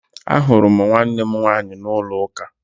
Ahụrụ m nwannem nwaanyị n'ụlọ uka